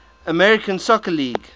american soccer league